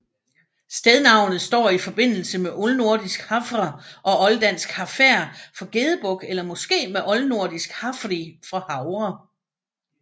Stednavnet står i forbindelse med oldnordisk hafr og olddansk hafær for gedebuk eller måske med oldnordisk hafri for havre